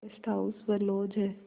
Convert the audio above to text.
guest house व lodge हैं